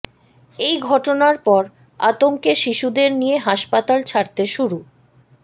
এই ঘটনার পর আতঙ্কে শিশুদের নিয়ে হাসপাতাল ছাড়তে শুরু